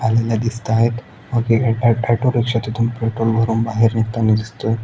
आलेल्या दिसताहेत व क अ ट अट ऑटोरिक्शा तिथून पेट्रोल भरून बाहेर निघतानी दिसतोय.